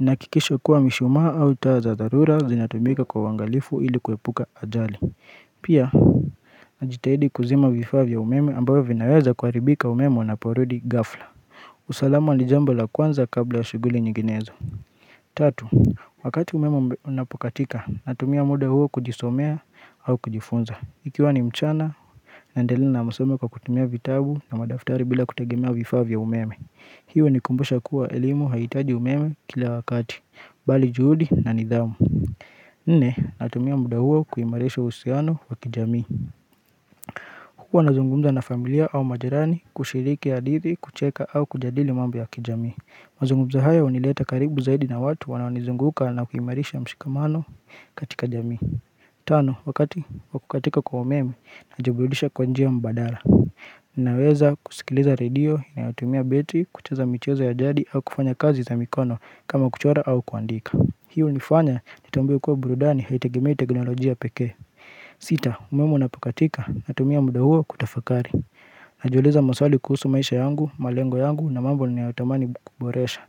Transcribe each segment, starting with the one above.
nahakikisha kuwa mishumaa au taa za dharura zinatumika kwa uangalifu ili kuepuka ajali Pia, najitahidi kuzima vifaa vya umeme ambavyo vinaweza kuharibika umeme unaporudi gafla usalama ni jambo la kwanza kabla ya shughuli nyiginezo Tatu, wakati umeme unapokatika natumia muda huo kujisomea au kujifunza Ikiwa ni mchana naendelea na masomo kwa kutumia vitabu na madaftari bila kutagemea vifaa vya umeme hiyo hunikumbusha kuwa elimu hahitaji umeme kila wakati, bali juhudi na nidhamu Nne, natumia muda huo kuimarisha uhusiano wa kijamii huwa nazungumza na familia au majirani kushiriki hadidhi, kucheka au kujadili mambo ya kijamii mazungumzo hayo hunileta karibu zaidi na watu wanao nizunguka na kuimarisha mshikamano katika jamii Tano, wakati wa kukatika kwa umemi najiburudisha kwa njia mbadala Ninaweza kusikiliza radio, inayotumia battery, kucheza michezo ya jadi au kufanya kazi za mikono kama kuchora au kuandika Hii hunifanya nitambue kuwa burudani haitegemei teknolojia pekee Sita, umeme unapokatika natumia muda huo kutafakari Najiuliza maswali kuhusu maisha yangu, malengo yangu na mambo niyayotamani kuboresha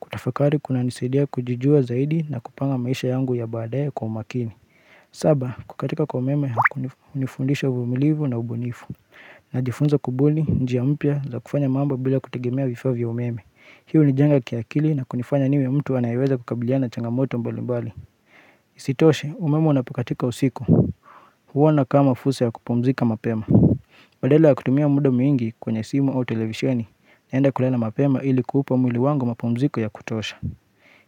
Kutafakari kuna nisaidia kujijua zaidi na kupanga maisha yangu ya baadaye kwa makini saba, kukatika kwa umeme, hunifundisha uvumilivu na ubunifu Najifunza kubuni, njia mpya, za kufanya mambo bila kutegemea vifaa vya umeme Hii hunijenga kiakili na kunifanya niwe mtu anayeweza kukabiliana na changamoto mbali mbali Isitoshe, umeme unapakatika usiku huona kama fursa ya kupumzika mapema Badala ya kutumia muda mwingi kwenye simu au televisheni naenda kulala mapema ili kuupa mwili wangu mapumziko ya kutosha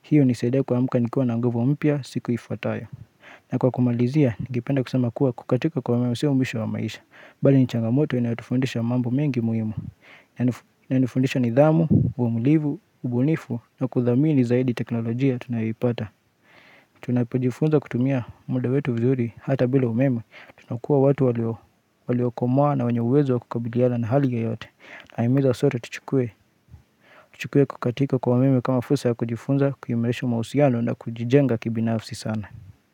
Hii hunisaida kuamka nikiwa na nguvu mpya siku ifuatayo na kwa kumalizia, ningependa kusema kuwa kukatika kwa umeme sio mwisho wa maisha Bali ni changamoto inayotufundisha mambo mengi muhimu Inanifundisha nidhamu, uvumilivu, ubunifu na kuthamini zaidi teknolojia tunayoipata Tunapojifunza kutumia muda wetu vizuri hata bila umeme Tunakuwa watu waliokomaa na wenye uwezo wa kukabiliala na hali yoyote Nawahimiza sote tuchukue kukatika kwa umeme kama fursa ya kujifunza kuimarisha mahusiano na kujijenga kibinafsi sana.